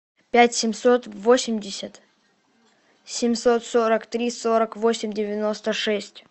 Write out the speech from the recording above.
пять семьсот восемьдесят семьсот сорок три сорок восемь девяносто шесть